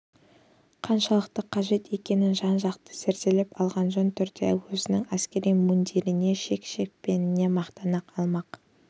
қаншалықты қажет екенін жан-жақты зерделеп алғаны жөн түрде өзінің әскери мундиріне шен-шекпеніне мақтана алмақ